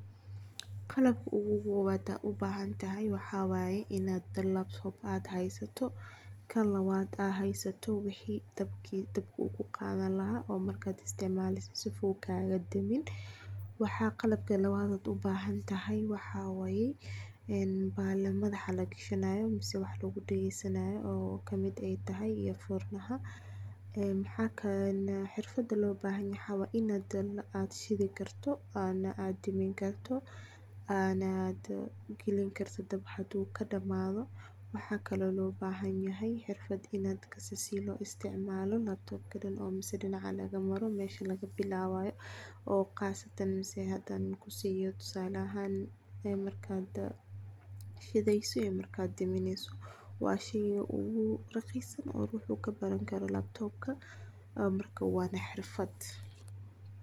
Qalab kubood ad ubahantahay waxa waye inad laptop ad haysato tan labad ad haysato wixii dabka uu kuqadan laha oo markad isticmaaleyso sifu kaga deemin, waxa qalabka labad od ubahantahay waxa way en bahala madaxa lagashanayo misena wax lugu dhageysanayo oo kamid ay tahay earphone xirfada loo bahayan waxa way inad ana shidi karto adna deemini karto ana gelini karto dab haduu kadhamaado, waxakake oo loo bahan yahay xirfad inad kasi sidi loo isticmaalo laptopka dhan mise dinaca laga maro mesha laga bilaawayo oo qaasatan hadan kusiiyo tusala ahaan markad shideyso iyo markad deemineyso waa sheeyga ogu raqis San oo uu ruxuu kabaran karo laptopka ,marka wana xirfad